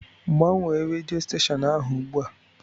Gbanwee rèdió stèshọn ahụ ùgbúà